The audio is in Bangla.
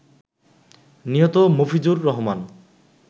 নিহত মফিজুর রহমান